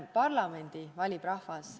Parlamendi valib rahvas.